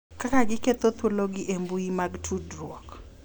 Kaka giketho thuologi e mbui mag tudruok